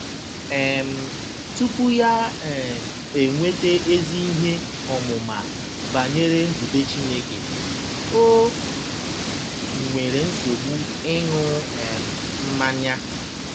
um Tupu ya um enweta ezi ihe ọmụma banyere nzube Chineke, o nwere nsogbu ịṅụ um mmanya.